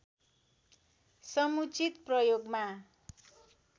समुचित प्रयोगमा